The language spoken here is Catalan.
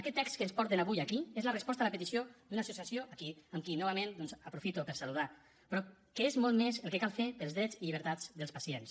aquest text que ens porten avui aquí és la resposta a la petició d’una associació a qui novament doncs aprofito per saludar però que és molt més el que cal fer pels drets i llibertats dels pacients